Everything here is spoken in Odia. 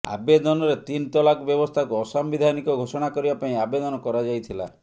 ଆବେଦନରେ ତିନ୍ ତଲାକ ବ୍ୟବସ୍ଥାକୁ ଅସାମ୍ବିଧାନିକ ଘୋଷଣା କରିବା ପାଇଁ ଆବେଦନ କରାଯାଇଥିଲା